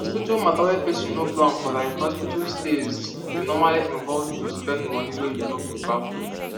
hospital matter wey person no plan forlike hospital stays dey normally involve to spend money wey you no prepare for